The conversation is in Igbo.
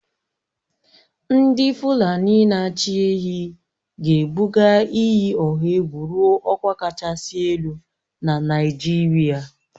Ndị Fulani na-achị ehi ga-ebuga iyi ọha egwu ruo ọkwa kachasị elu na Naịjirịa